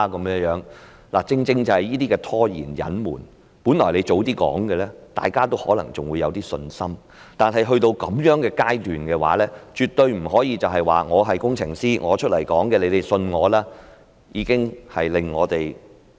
問題正正是這些拖延和隱瞞，本來如果早一點把問題說出來，大家還可能會有一點信心，但到了這樣的階段，絕對不可以說："我是工程師，你們要相信我出來說的話"。